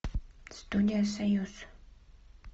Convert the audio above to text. студия союз